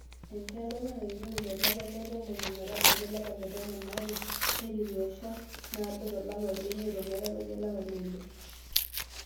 Enchan dorop naiteru tolapa letomon ometabaiki olapa letomon aare, Neiteru encha naado tolapa lemiet ometabaiki olapa leile.